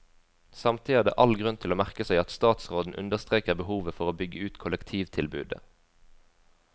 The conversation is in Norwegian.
Samtidig er det all grunn til å merke seg at statsråden understreker behovet for å bygge ut kollektivtilbudet.